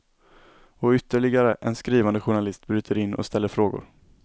Och ytterligare en skrivande journalist bryter in och ställer frågor.